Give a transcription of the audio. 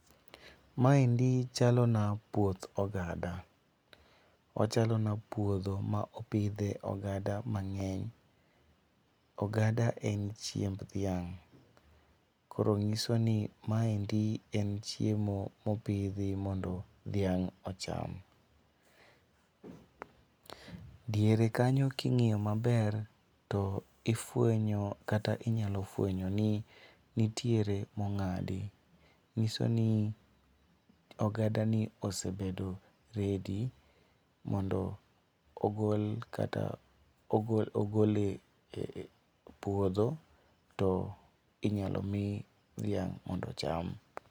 Maendi chalona puoth ogada, ochalona puodho ma opidhe ogada mang'eny. ogada en chiemb dhiang',koro ng'iso ni maendi en chiemo mopidhi mondo dhiang' ocham. Diere kanyo king'iyo maber to ifwenyo kata inyalo fwenyo ni nitiere mong'adi nyiso ni ogada ni osebedo ready mondo ogol e puodho to inyalo mi dhiang' mondo ocham.